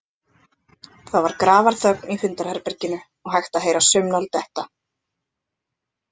Það var grafarþögn í fundarherberginu og hægt að heyra saumnál detta.